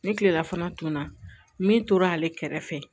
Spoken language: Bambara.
Ni kilelafana tun na min tora ale kɛrɛfɛ